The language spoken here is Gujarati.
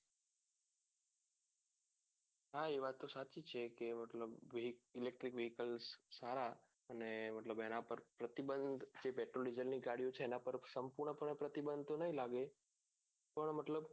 હા એ વાત તો સાચી છે કે મતલબ એક electric વિકલ્પ સારા અને મતલબ એના ઉપર પ્રતિબંધ petroldiesel ની ગાડી છે એના પર સંપૂર્ણ પણે તો પ્રતિબંધ તો નહિ લાગે પણ મતલબ